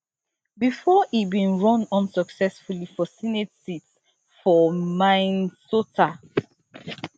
bifor e bin run unsuccessfully for senate seat for minnesota